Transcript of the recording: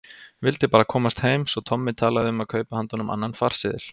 Vildi bara komast heim, svo Tommi talaði um að kaupa handa honum annan farseðil.